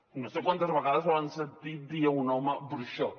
no sé quantes vegades han sentit dir a un home bruixot